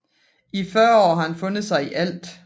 I 40 år har han fundet sig i ALT